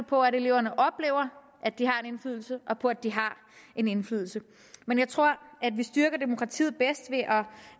på at eleverne oplever at de har en indflydelse og på at de har en indflydelse men jeg tror at vi styrker demokratiet bedst